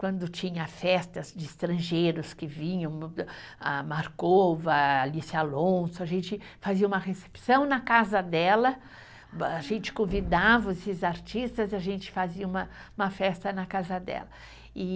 Quando tinha festas de estrangeiros que vinham, a Marcova, a Alice Alonso, a gente fazia uma recepção na casa dela, a gente convidava esses artistas e a gente fazia uma, uma festa na casa dela, e